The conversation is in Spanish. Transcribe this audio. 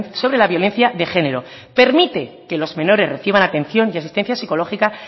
sobre la violencia de género permite que los menores reciban atención y asistencia psicológica